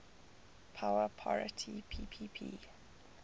power parity ppp